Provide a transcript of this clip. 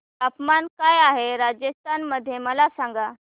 तापमान काय आहे राजस्थान मध्ये मला सांगा